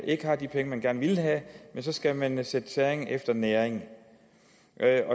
ikke har de penge man gerne ville have men så skal man sætte tæring efter næring